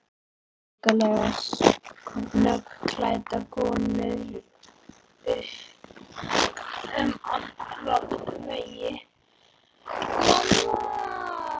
Skuggalega snöggklæddar konur upp um alla veggi.